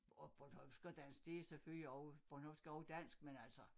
Og bornholmsk og dansk det selvfølgelig også bornholmsk er også dansk men altså